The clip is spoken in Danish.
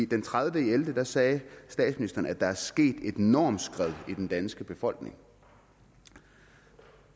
den tredivete november sagde statsministeren at der er sket et normskred i den danske befolkning